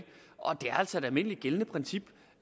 det er altså et almindeligt gældende princip